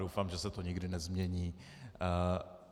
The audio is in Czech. Doufám, že se to nikdy nezmění.